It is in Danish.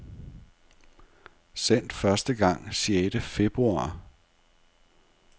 Sendt første gang sjette februar.